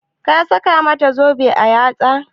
Ka saka mata zobe a yatsa?